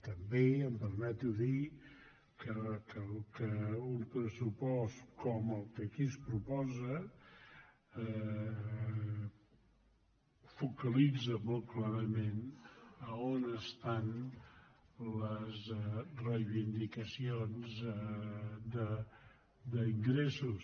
també em permeto dir que un pressupost com el que aquí es proposa focalitza molt clarament on hi han les reivindicacions d’ingressos